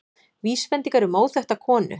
Vísbendingar um óþekkta konu